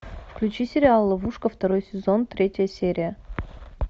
включи сериал ловушка второй сезон третья серия